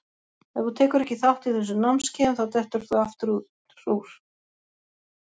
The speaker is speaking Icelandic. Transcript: Ef þú tekur ekki þátt í þessum námskeiðum þá dettur þú aftur úr.